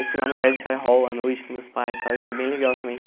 Aí fui lá no Credit Card Hall à noite com meus pais e tal, e foi bem legal também que